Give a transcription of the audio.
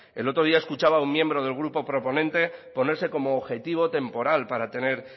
el otro día escuchaba a un miembro del grupo proponente ponerse como objetivo temporal para tener